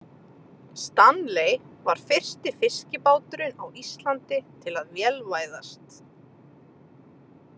Stanley var fyrsti fiskibáturinn á Íslandi til að vélvæðast.